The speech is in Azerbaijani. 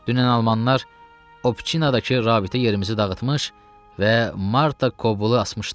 Dünən almanlar Obiçinadakı rabitə yerimizi dağıtmış və Marta Kobulu asmışlar.